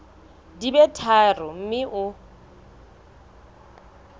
di be tharo mme o